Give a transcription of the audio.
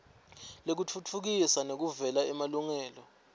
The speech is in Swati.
lekutfutfukisa nekuvikela emalungelo